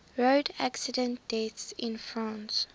road accident deaths in france